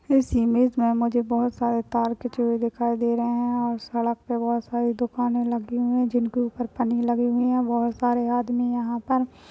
इस इमेज में हमें जो मुझे बहुत सारे तार खींचे हुए दिखाई दे रहे है सड़क पर बहुत सारी दुकाने लगी हुई है जिनके ऊपर पन्नी लगी हुई है बहुत सारे आदमी यहाँ पर--